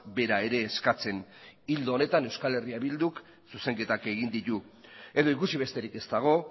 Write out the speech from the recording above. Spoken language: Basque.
bera ere eskatzen ildo honetan eh bilduk zuzenketak egin ditu edo ikusi besterik ez dago